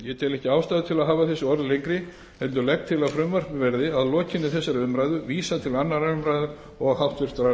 ekki ástæðu til að hafa þessi orð lengri heldur legg til að frumvarpinu verði að lokinni þessari umræðu vísað til annarrar umræðu og háttvirtrar